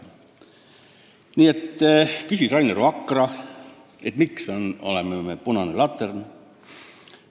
Rainer Vakra küsiski, miks me oleme punane latern.